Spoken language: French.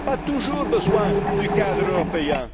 national. On n'a pas toujours besoin du cadre